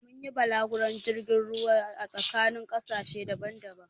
Mun yi balaguron jirgin ruwa a tsakanin ƙasashe daban-daban